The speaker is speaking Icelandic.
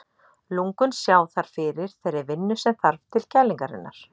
Lungun sjá þar fyrir þeirri vinnu sem þarf til kælingarinnar.